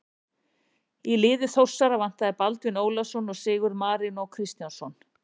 Í liði Þórsara vantaði Baldvin Ólafsson og Sigurð Marinó Kristjánsson.